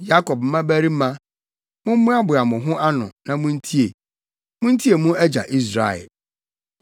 “Yakob mmabarima, mommoaboa mo ho ano, na muntie; muntie mo agya Israel.